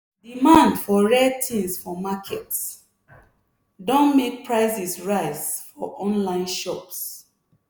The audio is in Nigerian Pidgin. demand for rare things for market don make prices rise for online shops.